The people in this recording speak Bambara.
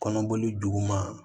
Kɔnɔboli duguma